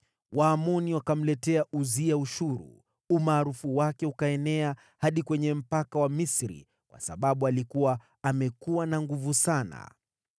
Waamoni wakamletea Uzia ushuru, umaarufu wake ukaenea hadi kwenye mpaka wa Misri, kwa sababu alikuwa amekuwa na nguvu sana.